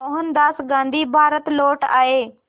मोहनदास गांधी भारत लौट आए